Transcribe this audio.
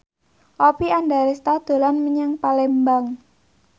Oppie Andaresta dolan menyang Palembang